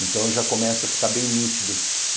Então, já começa a ficar bem nítido.